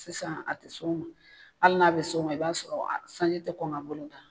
Sisan a te s'o ma, hali n'a bɛ s'o ma i b'a sɔrɔ a sanji tɛ kɔn ka bolo da